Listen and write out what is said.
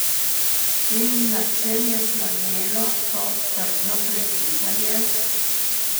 In na čem je slonelo to trdno prepričanje?